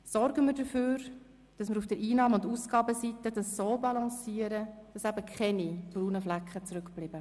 Sorgen wir dafür, dass wir die Einnahme- und die Ausgabeseite so balancieren, dass keine braunen Flecken zurückbleiben.